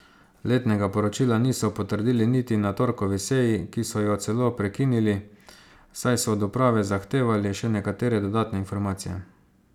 Letnega poročila niso potrdili niti na torkovi seji, ki so jo celo prekinili, saj so od uprave zahtevali še nekatere dodatne informacije.